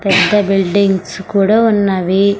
పెద్ద బిల్డింగ్స్ కూడా ఉన్నవి.